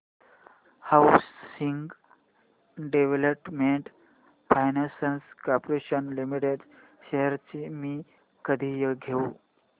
housing Development Finance Corporation Limited shares मी कधी घेऊ